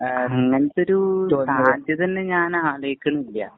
അങ്ങനത്തെ ഒരു സാധ്യത തന്നെ ഞാനാലോചിക്കണില്ല.